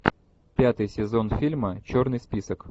пятый сезон фильма черный список